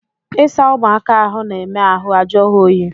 Ịsa ụ̣mụaka ahụ na-eme ahụ ajụọ ha oyi